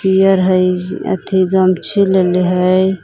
Year हइ अथी गमछी लेले हइ।